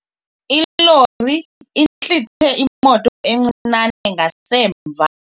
Ilori intlithe imoto encinane ngasemva.